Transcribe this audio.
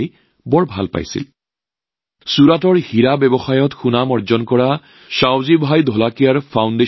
এই জল উৎসৱৰ আয়োজন কৰিছিল ছুৰাটৰ হীৰা ব্যৱসায়ত নাম উজলাই তোলা সাৱজী ভাই ঢোলকীয়াৰ ফাউণ্ডেচনে